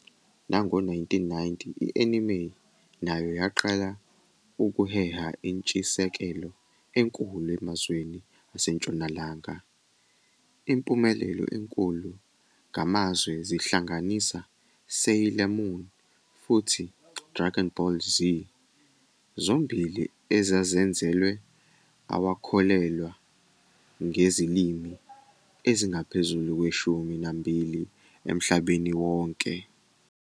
Ngawo-1990, i-anime nayo yaqala ukuheha intshisekelo enkulu emazweni aseNtshonalanga, impumelelo enkulu ngamazwe zihlanganisa "Sailor Moon" futhi "Dragon Ball Z", zombili ezazenzelwe awakholelwa ngezilimi ezingaphezu kweshumi nambili emhlabeni wonke.